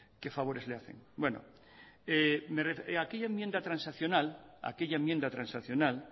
qué favores le hacen aquella enmienda transaccional